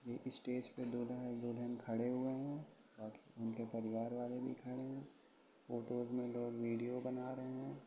ये स्टेज पे दूल्हा दुल्हन खड़े हुए हैं और उनके परिवार वाले भी खड़े हैं और फोटोज में लोग विडिओ बना रहे हैं।